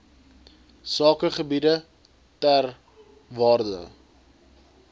sakegebiede ter waarde